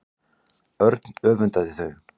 Örn öfundaði þau.